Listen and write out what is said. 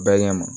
Bɛɛ ɲɛ ma